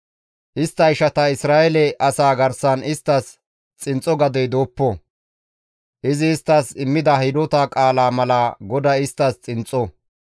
Istta ishata Isra7eele asaa garsan isttas xinxxo gadey dooppo; izi isttas immida hidota qaala mala GODAY isttas xinxxo.